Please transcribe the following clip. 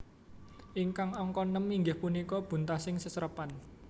Ingkang angka nem inggih punika buntasing seserepan